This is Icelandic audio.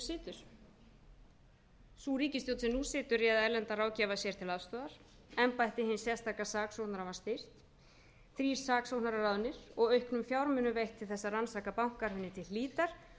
situr sú ríkisstjórn sem nú situr réð erlendan ráðgjafa sér til aðstoðar embætti hins sérstaka saksóknara þrír saksóknarar ráðnir og auknum fjármunum veitt til þess að rannsaka bankahrunið til hlítar